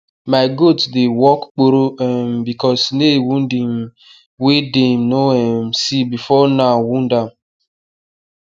my goat dey walk kporo um because nail wound um wey dem no um see before now wound am